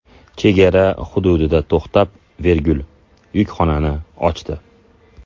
Chegara hududida to‘xtab, yukxonani ochdi.